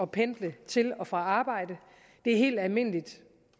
pendle til og fra arbejde det er helt almindeligt